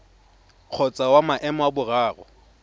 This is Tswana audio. kgotsa wa maemo a boraro